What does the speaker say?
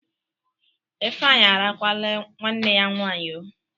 Ifeanyi arakwaanụ nwanne ya nwaanyị oo!